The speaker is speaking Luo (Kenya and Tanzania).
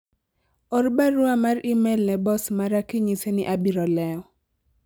or barua mar emai ne bos mara kinyise ni abiro lewo